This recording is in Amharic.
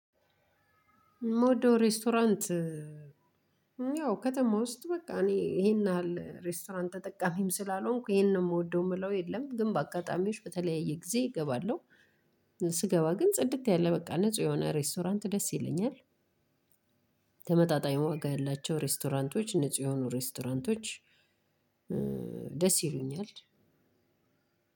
ምወደው ሬስቶራንት ያው ከተማ ውስጥ በቃ እኔ ይሄን ያህል ሬስቶራንት ተጠቃሚም ስላልሆንኩ ይሄንን ነው የምወደው የምለው የለም ግን በአጋጣሚዎች በተለያየ ጊዜ እገባለሁ ስገባ ግን ጽድት ያለ በቃ ንጹህ የሆነ ሬስቶራንት ደስ ይለኛል። ተመጣጣኝ ወጋ ያላቸው ሬስቶራንቶች ንጹህ የሆኑ ሬስቶራንቶች ደስ ይሉኛል።